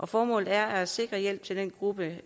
formålet er at sikre hjælp til den gruppe